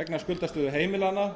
vegna skuldastöðu heimilanna